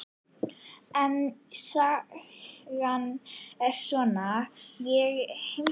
En sagan er svona: Ég heimsæki Hjördísi stundum.